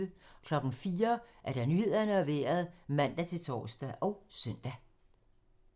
04:00: Nyhederne og Vejret (man-tor og søn)